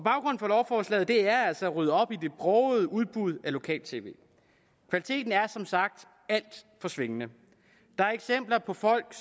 for lovforslaget er altså at rydde op i det brogede udbud af lokal tv kvaliteten er som sagt alt for svingende og der er eksempler på at folk